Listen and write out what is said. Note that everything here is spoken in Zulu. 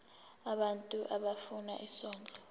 abantu abafuna isondlo